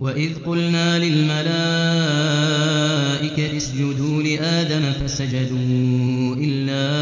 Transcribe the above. وَإِذْ قُلْنَا لِلْمَلَائِكَةِ اسْجُدُوا لِآدَمَ فَسَجَدُوا إِلَّا